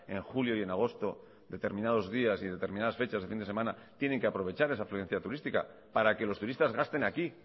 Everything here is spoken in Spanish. en julio y en agosto determinados días y determinadas fechas en fin de semana tienen que aprovechar esa afluencia turística para que los turistas gasten aquí